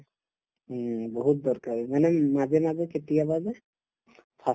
উম, বহুত দৰকাৰী মানে উম মাজে মাজে কেতিয়াবা যে fast